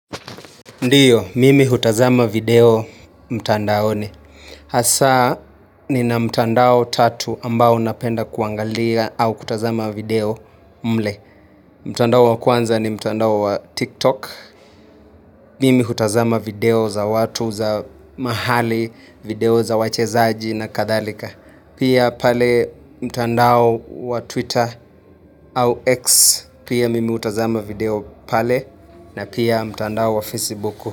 Ndiyo, mimi hutazama video mtandaoni. Hasaa, nina mtandao tatu ambao napenda kuangalia au kutazama video mle. Mtandao wa kwanza ni mtandao wa TikTok. Mimi hutazama video za watu za mahali, video za wachezaji na kadhalika. Pia pale mtandao wa Twitter au X. Pia mimi hutazama video pale na pia mtandao wa Facebook.